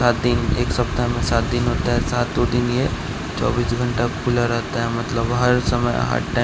सात दिन एक सप्ताह में सात दिन होता सातों दिन ये चौबीस घंटा खुला रहता मतलब हर समय हर टाइ --